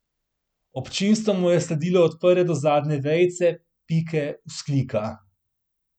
Občinstvo mu je sledilo od prve do zadnje vejice, pike, vzklika.